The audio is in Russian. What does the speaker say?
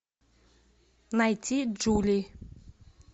найти джули